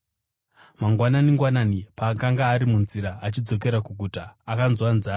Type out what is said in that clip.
Mangwanani-ngwanani, paakanga ari munzira achidzokera kuguta, akanzwa nzara.